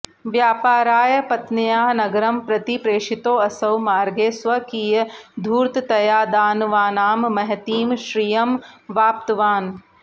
व्यापाराय पत्न्या नगरं प्रति प्रेषितोऽसौ मार्गे स्वकीयधूर्ततया दानवानां महतीं श्रियमवाप्तवान्